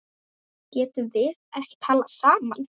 Getum við ekki talað saman?